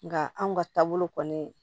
Nga anw ka taabolo kɔni